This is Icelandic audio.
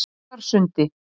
Njarðarsundi